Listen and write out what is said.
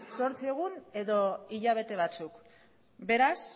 zortzi egun edo hilabete batzuk beraz